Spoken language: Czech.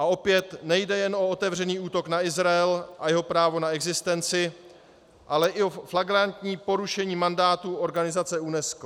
A opět nejde jen o otevřený útok na Izrael a jeho právo na existenci, ale i o flagrantní porušení mandátu organizace UNESCO.